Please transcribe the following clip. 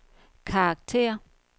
karakter